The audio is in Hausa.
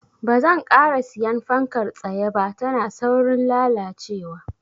Banzan ƙara siyan fankar tsaye ba, tana saurin lalacewa.